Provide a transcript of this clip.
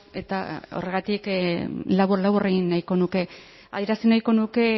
eta horregatik labur labur egin nahiko nuke adierazi nahiko nuke